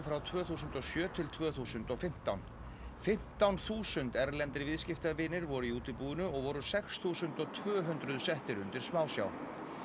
frá tvö þúsund og sjö til tvö þúsund og fimmtán fimmtán þúsund erlendir viðskiptavinir voru í útibúinu og voru sex þúsund tvö hundruð settir undir smásjá